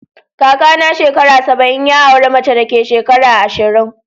Kaka na shekara saba'in, ya aura mace da ke shekara ashirin.